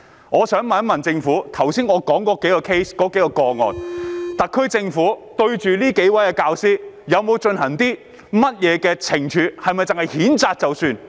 我想問局長，特區政府對於我剛才所說這數個 case 的教師，有否作出懲處，抑或只是譴責便算？